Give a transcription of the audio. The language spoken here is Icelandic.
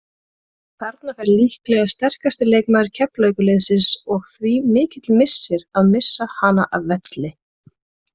Þarna fer líklega sterkasti leikmaður Keflavíkurliðsins og því mikill missir að missa hana af velli.